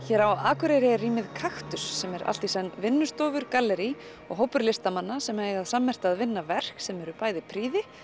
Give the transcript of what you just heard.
hér á Akureyri er rýmið Kaktus sem er allt í senn vinnustofa gallerí og hópur listamanna sem eiga það sammerkt að vinna verk sem eru bæði prýði